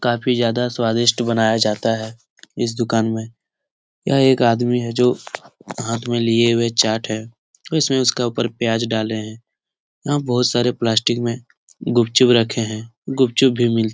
काफ़ी ज्यादा स्वादिष्ट बनाया जाता है इस दुकान में। यह एक आदमी है जो हाथ में लिए हुए चाट है और इसमें उसका ऊपर प्याज डाले हैं। यहाँ बहुत सारे प्लास्टिक में गुपचुप रखे हैं। गुपचुप भी मिल --